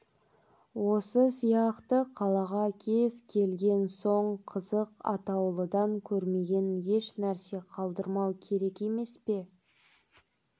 осы сияқты қалаға келген соң қызық атаулыдан көрмеген ешнәрсе қалдырмау керек емес пе